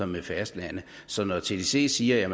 med fastlandet så når tdc siger at